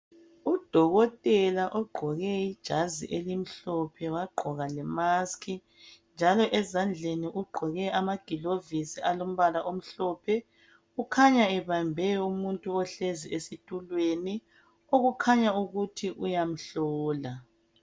Udokotela ogqoke ijazi elimhlophe wagqoka le mask njalo ezandleni ugqoke ama gloves alombala omhlophe kukhanya ebambe umuntu ohlezi esitulweni okukhanya ukuthi uyamhlola